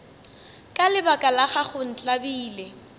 ka lebaka la gago ntlabile